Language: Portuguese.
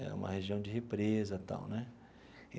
É uma região de represa e tal né.